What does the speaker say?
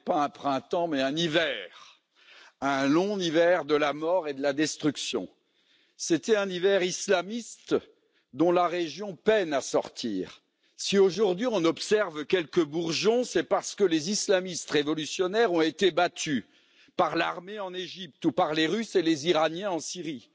Monsieur le Président, le printemps arabe n'était pas un printemps mais un hiver, un long hiver de la mort et de la destruction. C'était un hiver islamiste, dont la région peine à sortir. Si, aujourd'hui, on observe quelques bourgeons, c'est parce que les islamistes révolutionnaires ont été battus par l'armée en Égypte ou par les Russes et les Iraniens en Syrie.